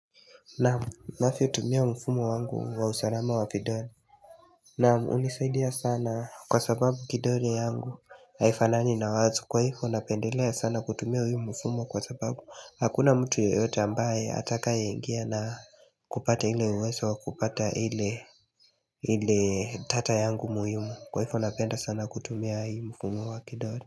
Naam navyo tumia mfumo wangu wa usalama wa fidani Namu hunisaidia sana kwa sababu kidole yangu haifanani nawatu kwa hivo napendelea sana kutumia hii mfumo kwa sababu hakuna mtu yoyote ambaye atakaye ingia na kupata ile uwezo wa kupata ile ile tata yangu muhimu kwa hivo napenda sana kutumia hii mfumo wa kidole.